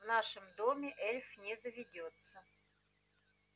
в нашем доме эльф не заведётся